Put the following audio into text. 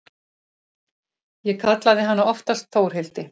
Ég kallaði hana oftast Þórhildi.